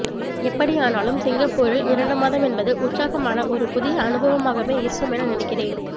எப்படியானாலும் சிங்கப்பூரில் இரண்டுமாதம் என்பது உற்சாகமான ஒரு புதிய அனுபவமாகவே இருக்குமென நினைக்கிறேன்